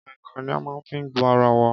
Kèǹkè ni a má n fi gbo ara wa